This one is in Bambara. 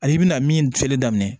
Ani i bɛna min filɛli daminɛ